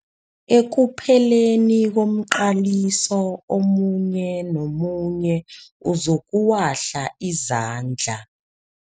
Ekupheleni komqaliso omunye nomunye uzokuwahla izandla.